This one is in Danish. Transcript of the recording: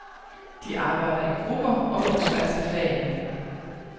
De arbejder i grupper og på tværs af fagene.